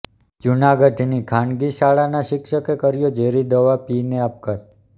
જૂનાગઢની ખાનગી શાળાના શિક્ષકે કર્યો ઝેરી દવા પી ને આપઘાત